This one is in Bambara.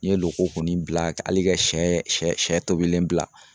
N ye loko kɔni bila hali ka siyɛ sɛ tobilen bila